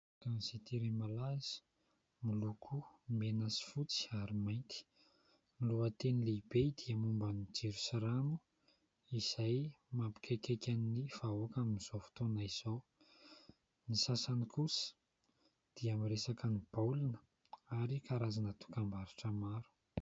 Gazety iray malaza miloko mena sy fotsy ary mainty. Ny lohateny lehibe dia momba ny jiro sy rano izay mampikaikaika ny vahoaka amin'izao fotona izao. Ny sasany kosa dia miresaka ny baolina ary karazana dokam-barotra maro.